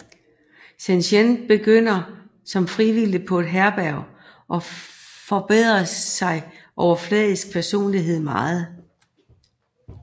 Cheyenne begynder som frivillig på et herberg og forbedrer sin overfladiske personlighed meget